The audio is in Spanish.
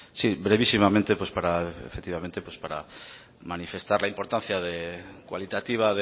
sí brevísimamente para efectivamente manifestar la importancia cualitativa